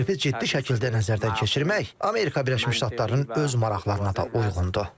Bu təklifi ciddi şəkildə nəzərdən keçirmək Amerika Birləşmiş Ştatlarının öz maraqlarına da uyğundur.